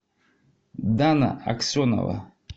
дана аксенова